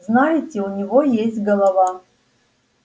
знаете у него есть голова